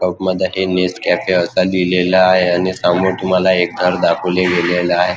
Cup मध्ये हे Nescafe असं लिहलेलं आहे आणि समोर तुम्हाला एक घर दाखवले गेलेले आहे.